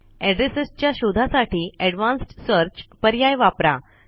addresses च्या शोधा साठी एडवान्स्ड सर्च पर्याय वापरा